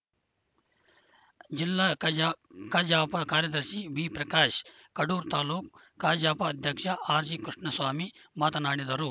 ಜಿಲ್ಲಾ ಕಜಾ ಕಜಾಪ ಕಾರ್ಯದರ್ಶಿ ಬಿಪ್ರಕಾಶ್‌ ಕಡೂರು ತಾಲೂಕ್ ಕಜಾಪ ಅಧ್ಯಕ್ಷ ಆರ್‌ಜಿ ಕೃಷ್ಣಸ್ವಾಮಿ ಮಾತನಾಡಿದರು